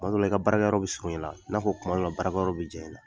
Kuma dɔ la i ka baarakɛ yɔrɔ bɛ surunya i la i n'a fɔ kuma dɔ la baarakɛ yɔrɔ bɛ janya i la.